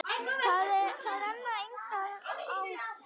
Þar renna engar ár.